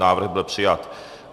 Návrh byl přijat.